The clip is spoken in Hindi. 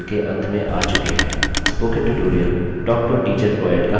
अब हम इस tutorial के अंत में आ चुके हैं